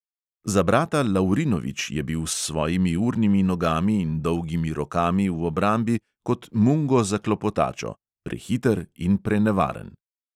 Za brata lavrinovič je bil s svojimi urnimi nogami in dolgimi rokami v obrambi kot mungo za klopotačo: prehiter in prenevaren.